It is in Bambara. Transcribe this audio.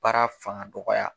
Baara faŋadɔgɔya